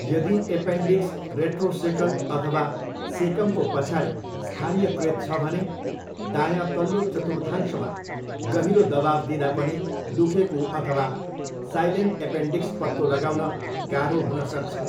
यदि appendix retrocaecal अथवा सेकमको पछाडि स्थानीयकृत छ भने, दायाँ तल्लो चतुर्थांशमा गहिरो दबाउ दिँदा पनि दुखेको अथवा साइलेन्ट एपेन्डिक्स पत्तो लगाउन गाह्रो हुन सक्छ।